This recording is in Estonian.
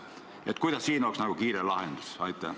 Milline võiks siin olla kiire lahendus?